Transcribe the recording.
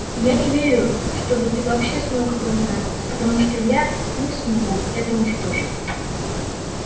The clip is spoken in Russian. и я не верю чтобы ты вообще смог это узнать потому что я не смогу это уж точно